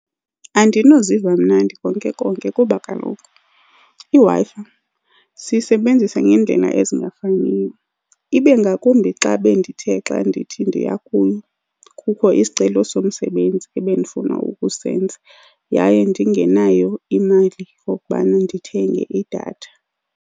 Andinoziva mnandi konke konke kuba kaloku iWi-Fi siyisebenzisa ngendlela ezingafaniyo. Ibe ngakumbi xa bendithe xa ndithi ndiya kuyo kukho isicelo somsebenzi ebendifuna ukusenza, yaye ndingenayo imali yokokubana ndithenge idatha.